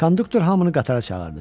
Konduktor hamını qatara çağırdı.